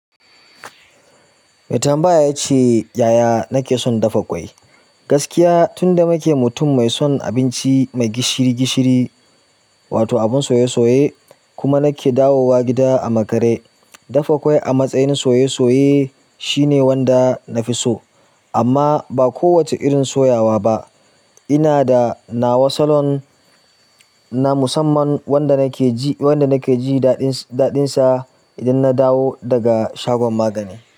Mai tambaya ya ce, "Yaya nake son dafa ƙwai?" gaskiya tunda nike mutum mai son gishiri-gishiri, wato abun soye-soye, kuma nake dawowa gida a makare dafa ƙwai a matsayin na soye-soye. Shine wanda na fi so, amma ba ko wace irin soyawa ba. Ina da nawa salon na musamman wanda nake jin daɗinsa. Idan na dawo daga shagon magani.